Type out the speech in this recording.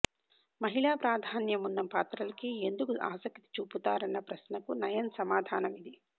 మహిళా ప్రాధాన్యమున్న పాత్రలకే ఎందుకు ఆసక్తి చూపుతారన్న ప్రశ్నకు నయన్ సమాదానమిది